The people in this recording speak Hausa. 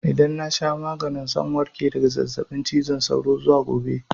Idan na sha magani zan warke daga zazzaɓin cizon sauro zuwa gobe.